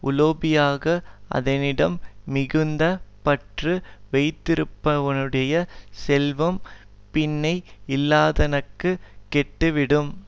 உலோபியாக அதனிடம் மிகுந்த பற்று வைத்திருப்பனுடைய செல்வம் பின்னை இல்லாதனுக்கு கெட்டுவிடும்